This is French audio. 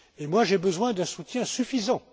Et moi, j'ai besoin d'un soutien suffisant.